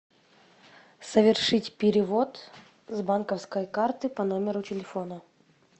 совершить перевод с банковской карты по номеру телефона